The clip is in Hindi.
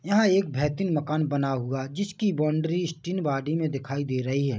यहाँ एक भेतिन मकान बना हुआ है जिसकी बाउंड्री स्टीन बॉडी में दिखाई दे रही है।